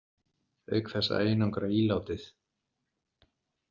Auk þess að einangra ílátið.